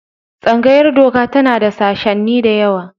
Tsangayar Doka tana da sashenni da yawa.